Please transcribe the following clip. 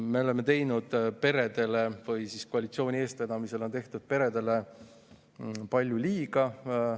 Me oleme teinud peredele palju liiga, koalitsiooni eestvedamisel on tehtud peredele palju liiga.